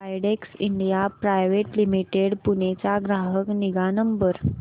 Widex India private limited Pune चा ग्राहक निगा नंबर